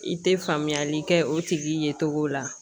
I tɛ faamuyali kɛ o tigi ye cogo la